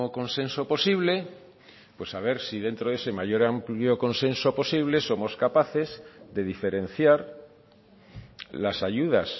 consenso posible pues a ver si dentro de ese mayor amplio consenso posible somos capaces de diferenciar las ayudas